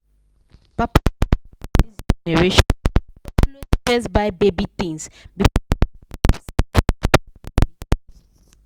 papa and mama for this generation dey always first buy baby things before dem think of saving for school money